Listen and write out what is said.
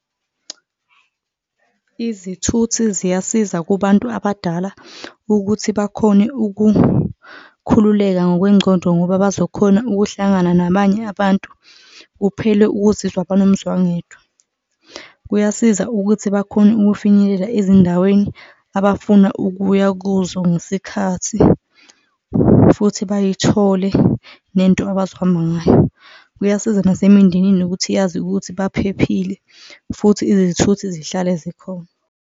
Izithuthi ziyasiza kubantu abadala ukuthi bakhone ukukhululeka ngokwencondo ngoba bazokhona ukuhlangana nabanye abantu, kuphele ukuzizwa banomzwangedwa, kuyasiza ukuthi bakhone ukufinyelela ezindaweni abafuna ukuya kuzo ngesikhathi futhi bayithole nento abazohamba ngayo. Kuyasiza nasemindenini nokuthi yazi ukuthi baphephile futhi izithuthi zihlale zikhona.